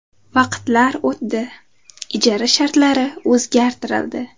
Vaqtlar o‘tdi, ijara shartlari o‘zgartirildi.